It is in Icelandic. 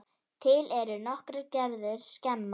Til eru nokkrar gerðir skema.